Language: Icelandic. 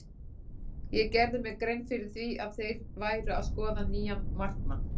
Ég gerði mér grein fyrir því að þeir væru að skoða nýjan markmann.